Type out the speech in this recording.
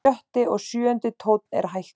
Sjötti og sjöundi tónn er hækkaður.